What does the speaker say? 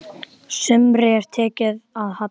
Sumri er tekið að halla.